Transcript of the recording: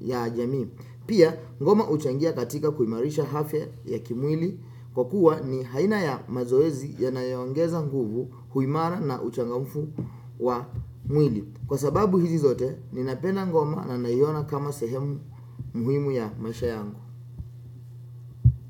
ya jamii. Pia, ngoma huchangia katika kuimarisha afya ya kimwili kwa kuwa ni haina ya mazoezi yanayoongeza nguvu uimara na uchangamfu wa mwili. Kwa sababu hizi zote, ninapenda ngoma na naiona kama sehemu muhimu ya maisha yangu.